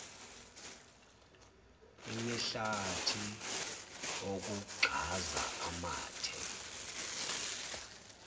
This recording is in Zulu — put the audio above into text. imihlati ukugxaza amathe